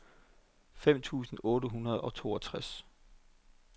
fem tusind otte hundrede og toogtres